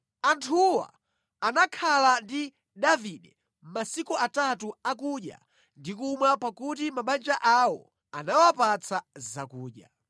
Anthuwa anakhala ndi Davide masiku atatu akudya ndi kumwa pakuti mabanja awo anawapatsa zakudya.